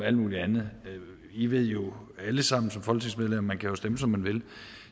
alt mulig andet men vi ved jo alle sammen som folketingsmedlemmer at man kan stemme som man vil